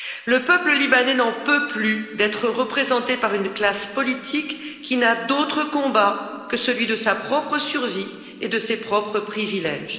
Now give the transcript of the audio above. Le peuple libanais n'en peut plus d'être représenté par une classe politique qui n'a d'autres combats que celui de sa propre survie et de ses propres privilèges.